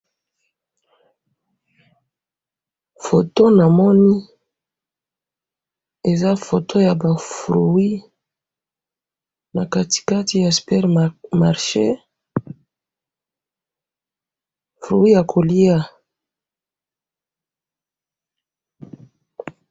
photo na moni eza photo yaba fruit na katikati ya supermarche fruit yako lia